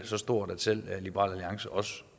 så stort at selv liberal alliance også